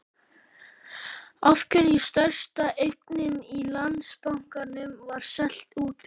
Af hverju stærsta eignin í Landsbankanum var seld út úr?